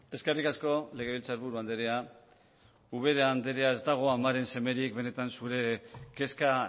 eskerrik asko legebiltzarburu andrea ubera andrea ez dago amaren semerik benetan zure kezka